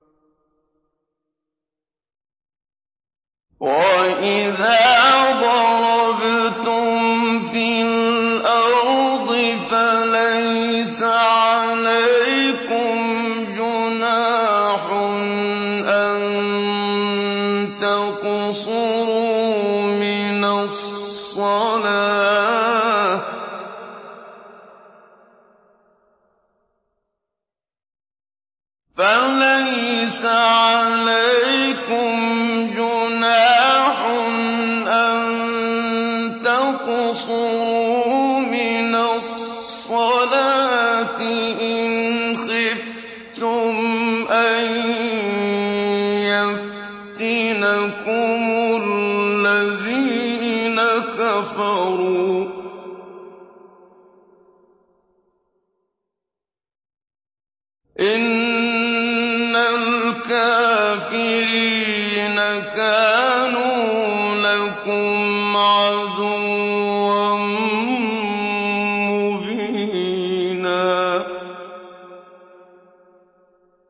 وَإِذَا ضَرَبْتُمْ فِي الْأَرْضِ فَلَيْسَ عَلَيْكُمْ جُنَاحٌ أَن تَقْصُرُوا مِنَ الصَّلَاةِ إِنْ خِفْتُمْ أَن يَفْتِنَكُمُ الَّذِينَ كَفَرُوا ۚ إِنَّ الْكَافِرِينَ كَانُوا لَكُمْ عَدُوًّا مُّبِينًا